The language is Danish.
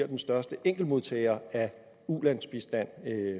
den største enkeltmodtager af ulandsbistand